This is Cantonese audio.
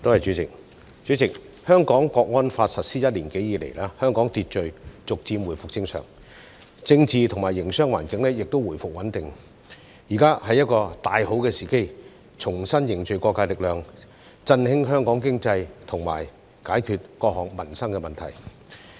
代理主席，《香港國安法》實施一年多以來，社會秩序逐漸回復正常，政治及營商環境亦回復穩定，現在是一個大好時機，重新凝聚各界力量，振興香港經濟及解決各項民生問題。